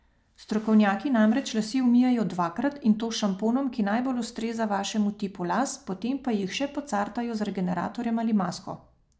Strokovnjaki namreč lase umijejo dvakrat, in to s šamponom, ki najbolj ustreza vašemu tipu las, potem pa jih še pocartajo z regeneratorjem ali masko.